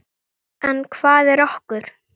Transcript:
En hvað er okur?